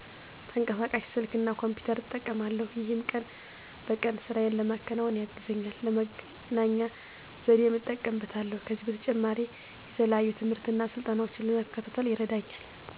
ተንቀሳቃሽ ስልክ እና ኮምፒተር እጠቀማለሁ። ይሄም ቀን በቀን ስራየን ለመከወን ያግዘኛል፣ ለመገናኛ ዘዴም እጠቀምበታለሁ። ከዚህም በተጨማሪ የተለያዩ ትምህርትና ስልጠናዎችን ለመከታተል ይረዳኛል።